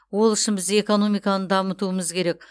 ол үшін біз экономиканы дамытуымыз керек